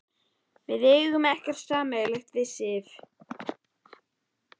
Við eigum ekkert sameiginlegt við Sif.